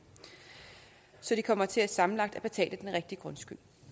så de kommer til sammenlagt at betale den rigtige grundskyld